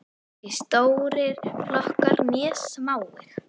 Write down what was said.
Hvorki stórir flokkar né smáir.